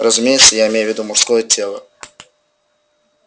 разумеется я имею в виду мужское тело